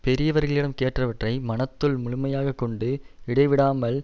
பெரியவர்களிடம் கேட்டவற்றை மனத்துள் முழுமையாக கொண்டு இடைவிடாமல்